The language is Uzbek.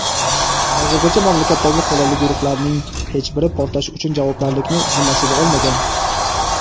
Hozirgacha mamlakatdagi qurolli guruhlarning hech biri portlash uchun javobgarlikni zimmasiga olmagan.